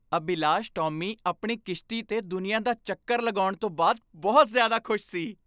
ਅਭਿਲਾਸ਼ ਟੌਮੀ ਆਪਣੀ ਕਿਸ਼ਤੀ 'ਤੇ ਦੁਨੀਆ ਦਾ ਚੱਕਰ ਲਗਾਉਣ ਤੋਂ ਬਾਅਦ ਬਹੁਤ ਜ਼ਿਆਦਾ ਖੁਸ਼ ਸੀ।